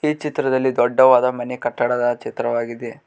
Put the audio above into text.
ಈ ಚಿತ್ರದಲ್ಲಿ ದೊಡ್ಡವಾದ ಮನೆ ಕಟ್ಟಡದ ಚಿತ್ರವಾಗಿದೆ.